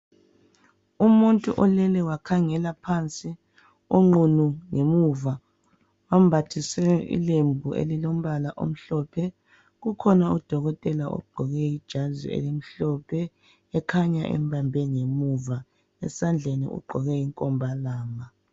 Umuntu olele wakhangela phansi, onqunu ngemuva ombathiswe ilembu elilombala omhlophe. Kukhona udokotela ogqoke ijazi elimhlophe ekhanya embambe ngemuva, esandleni ugqoke inkombalanga.